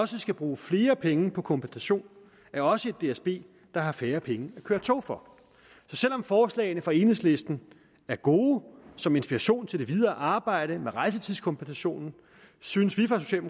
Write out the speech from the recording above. skal bruge flere penge på kompensation er også et dsb der har færre penge at køre tog for så selv om forslagene fra enhedslisten er gode som inspiration til det videre arbejde med rejsetidskompensationen synes vi